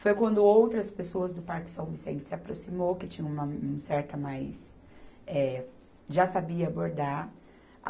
Foi quando outras pessoas do Parque São Vicente se aproximou, que tinha uma certa mais, eh, já sabia bordar.